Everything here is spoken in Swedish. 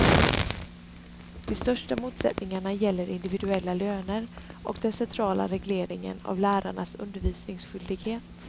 De största motsättningarna gäller individuella löner och den centrala regleringen av lärarnas undervisningsskyldighet.